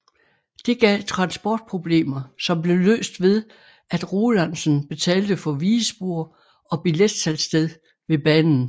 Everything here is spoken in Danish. Det gav transportproblemer som blev løst ved at Rolandsen betalte for vigespor og billetsalgssted ved banen